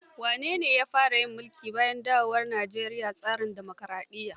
Wane ne ya fara yin mulki bayan dawowar Nijeriya tsarin dimokaraɗiyya?